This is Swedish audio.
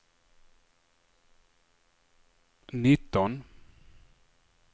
nitton